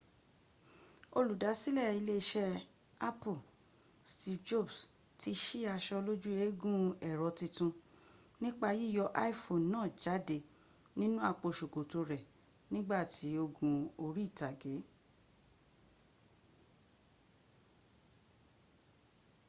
olùdásílẹ̀ ilé iṣẹ́ apple steve jobs ti ṣí aṣọ lójú eégún ẹ̀rọ tuntun nípa yíyọ iphone náà jáde nínú àpò ṣòkòtò rẹ̀ nígbà it́ o gun orí ìtàgé